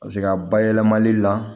Paseke a bayɛlɛmali la